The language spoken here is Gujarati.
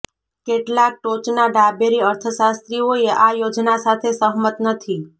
કેટલાક ટોચના ડાબેરી અર્થશાસ્ત્રીઓએ આ યોજના સાથે સહમત નથી